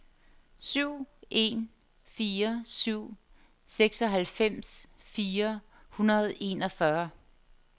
syv en fire syv seksoghalvfems fire hundrede og enogfyrre